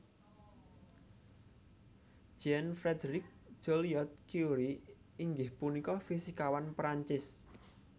Jean Frédéric Joliot Curie inggih punika fisikawan Prancis